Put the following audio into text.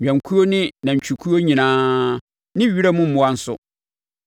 nnwankuo ne nantwikuo nyinaa ne wiram mmoa nso,